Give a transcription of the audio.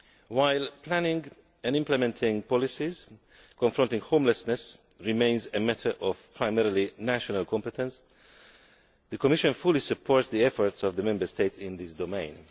While planning and implementing policies confronting homelessness remains a matter of primarily national competence, the Commission fully supports the efforts of the Member States in this domain.